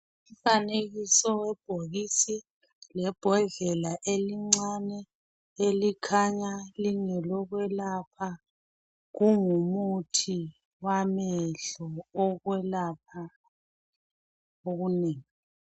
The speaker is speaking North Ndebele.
Umfanekiso webhokisi lebhodlela elincane elikhanya lingelokwelapha kungumuthi wamehlo okwelapha okunengi